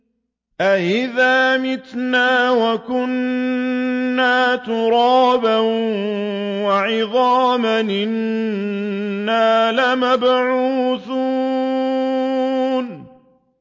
أَإِذَا مِتْنَا وَكُنَّا تُرَابًا وَعِظَامًا أَإِنَّا لَمَبْعُوثُونَ